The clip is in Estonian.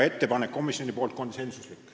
Komisjoni otsus oli konsensuslik.